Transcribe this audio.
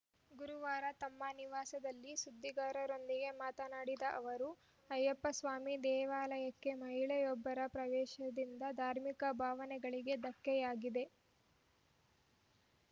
ಗುರುವಾರ ತಮ್ಮ ನಿವಾಸಲ್ಲಿ ಸುದ್ದಿಗಾರರೊಂದಿಗೆ ಮಾತನಾಡಿದ ಅವರು ಅಯ್ಯಪ್ಪಸ್ವಾಮಿ ದೇವಾಲಯಕ್ಕೆ ಮಹಿಳೆಯೋಬ್ಬರ ಪ್ರವೇಶದಿಂದ ಧಾರ್ಮಿಕ ಭಾವನೆಗಳಿಗೆ ಧಕ್ಕೆಯಾಗಿದೆ